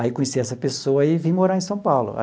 Aí, conheci essa pessoa e vim morar em São Paulo.